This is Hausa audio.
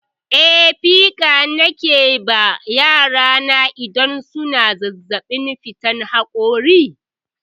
Eh, pikan nake ba yara na idan suna zazzaɓin fitar haƙora.